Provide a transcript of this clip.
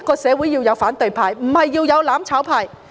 社會需要反對派，而非"攬炒派"。